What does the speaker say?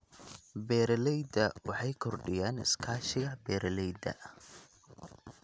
Beeralayda beeralayda waxay kordhiyaan iskaashiga beeralayda.